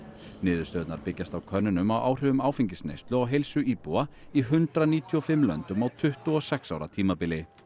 niðurstöðurnar byggjast á könnunum á áhrifum áfengisneyslu á heilsu íbúa í hundrað níutíu og fimm löndum á tuttugu og sex ára tímabili